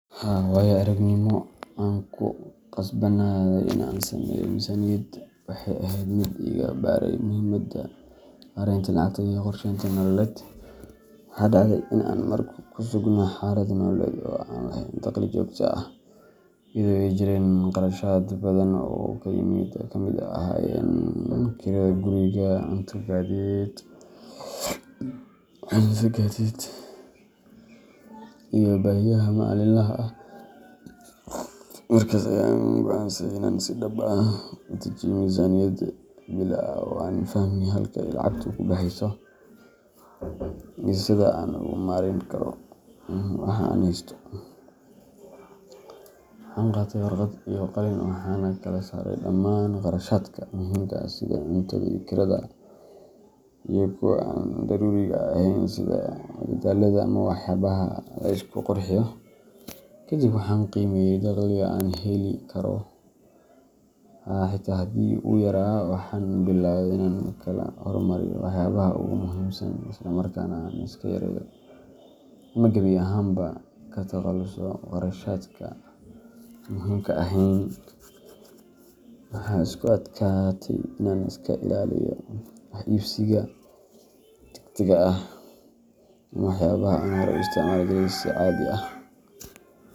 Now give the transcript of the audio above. Haa, waayo-aragnimo aan ku qasbanaaday in aan sameeyo miisaaniyad waxay ahayd mid iga baray muhiimadda maaraynta lacagta iyo qorsheynta nololeed. Waxa dhacday in aan mar ku sugnaa xaalad nololeed oo aanan lahayn dakhli joogto ah, iyadoo ay jireen kharashaad badan oo ay ka mid ahaayeen kirada guriga, cunto, gaadiid, iyo baahiyaha maalinlaha ah. Markaas ayaan go’aansaday in aan si dhab ah u dejiyo miisaaniyad bille ah si aan u fahmo halka ay lacagtu ka baxayso iyo sida aan ugu maarayn karo waxa aan haysto. Waxaan qaatay warqad iyo qalin, waxaana kala saaray dhammaan kharashaadka muhiimka ah sida cuntada iyo kirada, iyo kuwa aan daruuriga ahayn sida madadaalada ama waxyaabaha la isku qurxiyo. Kadib waxaan qiimeeyay dakhliga aan heli karo, xitaa haddii uu yaraa, waxaanan biloway inaan kala hormariyo waxyaabaha ugu muhiimsan, isla markaana aan iska yareeyo ama gebi ahaanba ka takhaluso kharashaadka aan muhiimka ahayn. Waxaa igu adkaatay in aan iska ilaaliyo wax iibsiga degdegga ah ama waxyaabaha aan horey u isticmaali jiray si caadi ah.